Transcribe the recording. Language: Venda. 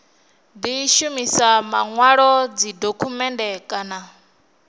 di shumisa manwalo dzidokhumennde kana